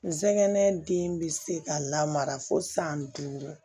Nsɛgɛn den bɛ se ka lamara fo san duuru